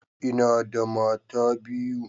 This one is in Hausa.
Ina da mata biyu.